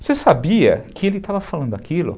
Você sabia que ele estava falando aquilo?